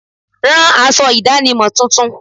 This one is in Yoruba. Rán aṣọ ìdánimọ̀ tuntun.